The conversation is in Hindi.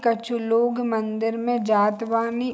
कछु लोग मंदिर में जात बानी।